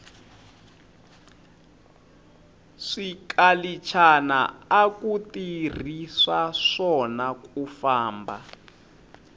swikalichana aku tirhiswa swona kufamba